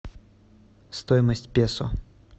стоимость песо